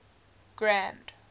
grand